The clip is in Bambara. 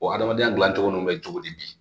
O hadamadenya dilancogo ninnu bɛ cogo di